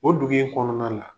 O dugu in kɔnɔna la.